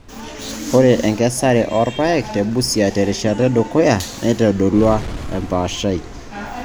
Ore enkesare oorpaek te Busia terishata edukuya neitodolua empaashai kake eitu eyiolouni.